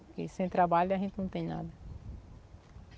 Porque sem trabalho a gente não tem nada.